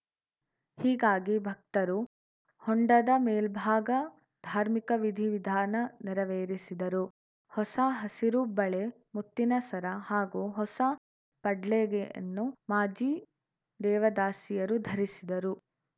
ಹೀಗಾಗಿ ಭಕ್ತರು ಹೊಂಡದ ಮೇಲ್ಭಾಗ ಧಾರ್ಮಿಕ ವಿಧಿ ವಿಧಾನ ನೆರವೇರಿಸಿದರು ಹೊಸ ಹಸಿರು ಬಳೆ ಮುತ್ತಿನ ಸರ ಹಾಗೂ ಹೊಸ ಪಡ್ಲಗೆಯನ್ನು ಮಾಜಿ ದೇವದಾಸಿಯರು ಧರಿಸಿದರು